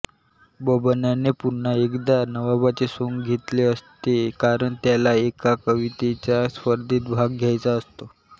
बब्बनने पुन्हा एकदा नवाबाचे सोंग घेतले असते कारण त्याला एका कवितेच्या स्पर्धेत भाग घ्यायचा असतो